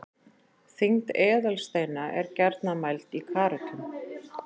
þyngd eðalsteina er gjarnan mæld í karötum